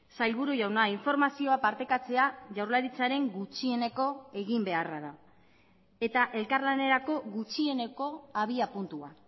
sailburu jauna informazioa partekatzea jaurlaritzaren gutxieneko eginbeharra da eta elkarlanerako gutxieneko abiapuntua